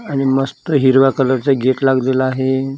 आणि मस्त हिरव्या कलरचं गेट लागलेलं आहे.